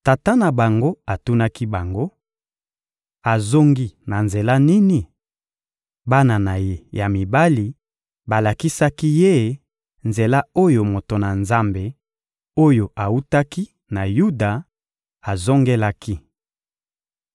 Tata na bango atunaki bango: — Azongi na nzela nini? Bana na ye ya mibali balakisaki ye nzela oyo moto na Nzambe, oyo awutaki na Yuda, azongelaki.